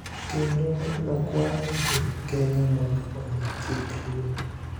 kendo nokwayo jo Kenya mondo omi chik luor